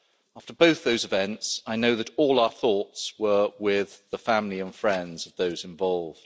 After both those events, I know that all our thoughts were with the families and friends of those involved.